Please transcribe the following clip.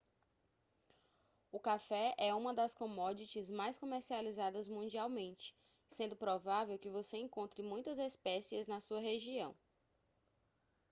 o café é uma das commodities mais comercializadas mundialmente sendo provável que você encontre muitas espécies na sua região